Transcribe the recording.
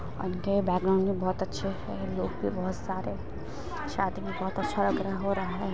उनके बैकग्राउंड में बहुत अच्छे हैं लोग भी बहुत सारे शादी में बहुत अच्छा लग रहा हो रहा है।